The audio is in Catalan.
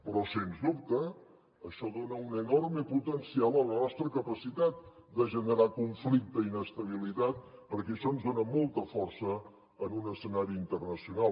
però sens dubte això dona un enorme potencial a la nostra capacitat de generar conflicte i inestabilitat perquè això ens dona molta força en un escenari internacional